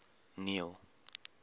neil